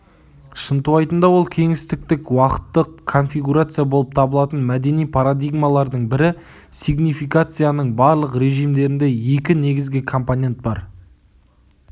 шынтуайтында ол кеңістіктік-уақыттық конфигурация болып табылатын мәдени парадигмалардың бірі сигнификацияның барлық режимдерінде екі негізгі компонент бар